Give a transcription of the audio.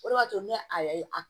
O de b'a to ne a ye a